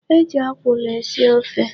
E ji ọkwụlụ esi ofe.